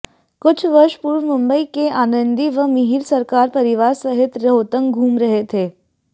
कुछ वर्ष पूर्व मुंबई के आनंदी व मिहिर सरकार परिवार सहित रोहतांग घूम रहे थे